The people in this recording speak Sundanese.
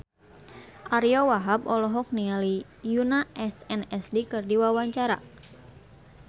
Ariyo Wahab olohok ningali Yoona SNSD keur diwawancara